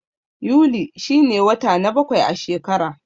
Yuli shi ne wata na bakwai a shekara.